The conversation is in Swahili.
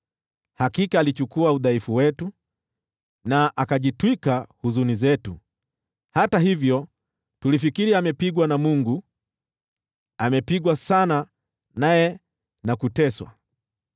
Hakika alichukua udhaifu wetu na akajitwika huzuni zetu, hata hivyo tulidhania kuwa amepigwa na Mungu, akapigwa sana naye, na kuteswa.